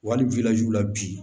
Wa hali la bi